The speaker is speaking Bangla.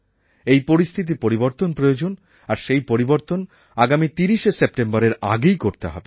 এই পরিস্থিতির পরিবর্তন প্রয়োজন আর সেই পরিবর্তন আগামী ৩০শে সেপ্টেম্বরের আগে করতে হবে